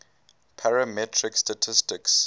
parametric statistics